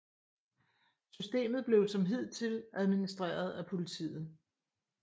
Systemet blev som hidtil administreret af Politiet